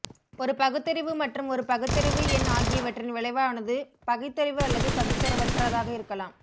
ஒரு பகுத்தறிவு மற்றும் ஒரு பகுத்தறிவு எண் ஆகியவற்றின் விளைவானது பகுத்தறிவு அல்லது பகுத்தறிவற்றதாக இருக்கலாம்